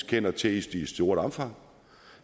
kender til i stort omfang